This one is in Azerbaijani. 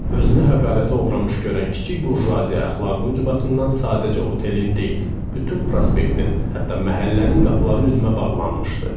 Özünü həqarətə uğramış görən kiçik burjuaziya əxlaqı ucbatından sadəcə otelin deyil, bütün prospektin, hətta məhəllənin qapıları üzümə bağlanmışdı.